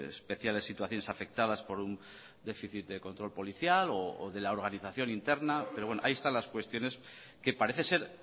especiales situaciones afectadas por un déficit control policial o de la organización interna pero bueno ahí están las cuestiones que parece ser